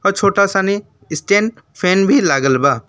अ छोटा सानी stand fan भी लागल बा।